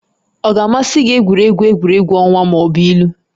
Ọ ga-amasị gị egwuregwu egwuregwu ọnwa ma ọ bụ ilu?